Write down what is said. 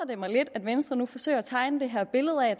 det mig lidt at venstre nu forsøger at tegne det her billede af